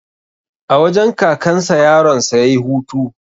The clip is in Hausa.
A wajen kakan sa yaron sa yayi hutu